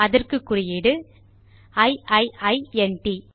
அதற்கு குறியீடு இ இ இ ந் ட்